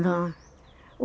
Não.